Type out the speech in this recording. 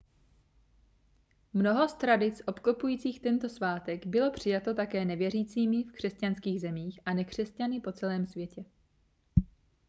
mnoho z tradic obklopujících tento svátek bylo přijato také nevěřícími v křesťanských zemích a nekřesťany po celém světě